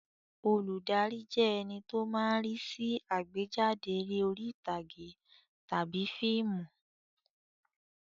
Olùdarí jẹ́ ẹní tó máa ń rí sí àgbéjáde eré orí ìtàgé tàbí fíìmù